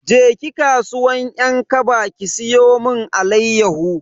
Je ki kasuwan 'yan kaba ki siyo mun alayyahu.